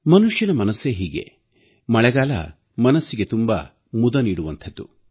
ಮನುಷ್ಯನ ಮನಸ್ಸೇ ಹೀಗೆ ಮಳೆಗಾಲ ಮನಸ್ಸಿಗೆ ತುಂಬಾ ಮುದ ನೀಡುವಂಥದ್ದು